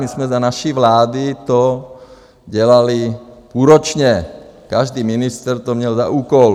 My jsme za naší vlády to dělali půlročně, každý ministr to měl za úkol.